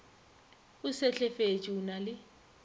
o sehlefetše o na le